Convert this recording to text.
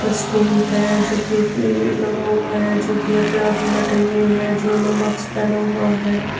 है जोकि एक लगा हुआ है जोकि यहाँ पे आदमी बैठे हुए हैं जिन्होंने मास्क पेहना हुआ है।